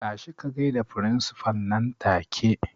Tashi ka gaida firinsifal nan take!